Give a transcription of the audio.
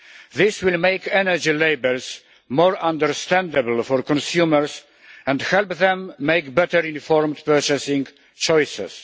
This will make energy labels more understandable for consumers and help them make better informed purchasing choices.